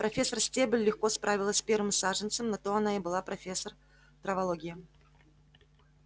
профессор стебль легко справилась с первым саженцем на то она и была профессор травологии